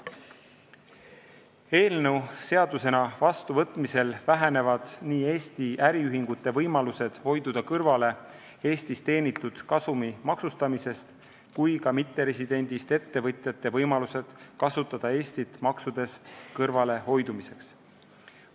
Eelnõu seadusena vastuvõtmisel vähenevad nii Eesti äriühingute võimalused hoida kõrvale Eestis teenitud kasumi maksustamisest kui ka mitteresidendist ettevõtjate võimalused kasutada Eestit maksudest kõrvalehoidmiseks.